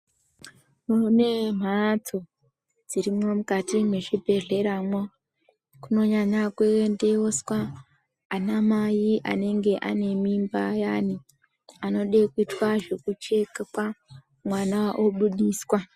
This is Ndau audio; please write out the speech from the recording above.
Munemhatso dzirimwo mukati mwezvibhehleramwo kunonyanya kuendeswa anamai anenge anemimba ayani anode kuitwa zvekuchekwa mwana obudiswa.